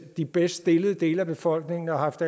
de bedst stillede dele af befolkningen har haft